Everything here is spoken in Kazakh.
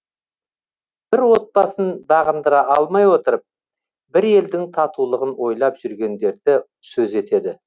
бір отбасын бағындыра алмай отырып бір елдің татулығын ойлап жүргендерді сөз етеді